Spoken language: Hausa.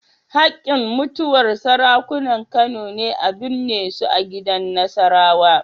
Haƙƙin mutuwar Sarakunan Kano ne a binne su gidan Nasarawa.